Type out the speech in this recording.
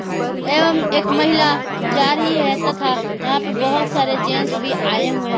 एवं एक महिला जा रही है तथा यहां पर बहुत सारे जेंस भी आए हुए हैं।